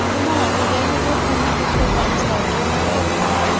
ਬਣਾ ਛੱਡਿਆ ਹੀ ਹੈ ਤੇ ਉੱਥੇ ਮੁੜ ਕੇ ਕੋਈ ਕੰਮ start ਕੀਤਾ ਹੈ ਹੀ ਨਹੀਂ ਹੈ।